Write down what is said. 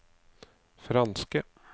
franske